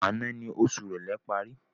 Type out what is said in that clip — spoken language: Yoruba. Àná ni oṣù ìrèlé parí